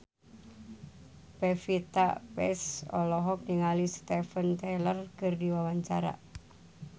Pevita Pearce olohok ningali Steven Tyler keur diwawancara